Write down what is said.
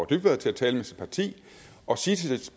dybvad til at tale med sit parti og sige